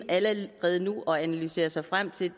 allerede nu er og analysere sig frem til